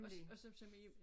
Og og så som i